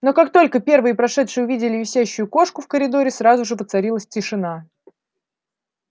но как только первые подошедшие увидели висящую кошку в коридоре сразу же воцарилась тишина